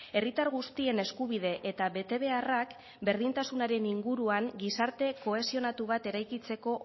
herritar guztien eskubide eta betebeharrak berdintasunaren inguruan gizarte kohesionatu bat eraikitzeko